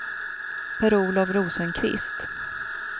Per-Olof Rosenqvist